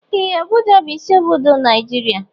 Ee! Abuja bụ isi obodo Naijiria.